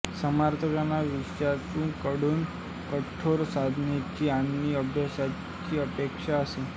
समर्थांना शिष्याकडून कठोर साधनेची आणि अभ्यासाची अपेक्षा असे